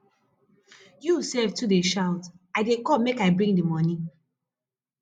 you sef too dey shout i dey come make i bring the money